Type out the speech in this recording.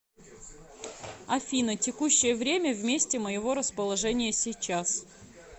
афина текущее время в месте моего расположения сейчас